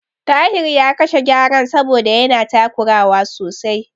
Tahir ya kashe Gyaren saboda yana takurawa sosai.